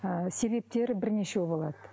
ы себептері бірнешеу болады